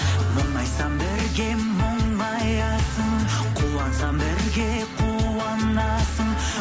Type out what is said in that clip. мұңайсам бірге мұңаясың қуансам бірге қуанасың